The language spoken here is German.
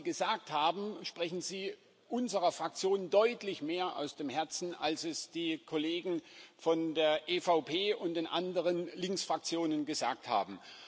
Mit dem, was Sie gesagt haben, sprechen Sie unserer Fraktion deutlich mehr aus dem Herzen, als es die Kollegen von der EVP und den anderen Linksfraktionen gesagt haben.